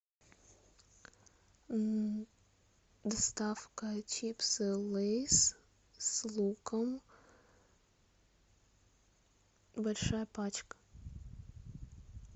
доставка чипсы лейс с луком большая пачка